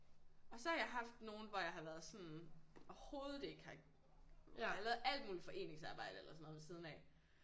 Og så har jeg haft nogle hvor jeg har været sådan overhovedet ikke har jeg har lavet alt muligt foreningsarbejde eller sådan noget ved siden af